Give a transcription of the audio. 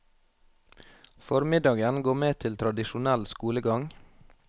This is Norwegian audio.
Formiddagen går med til tradisjonell skolegang.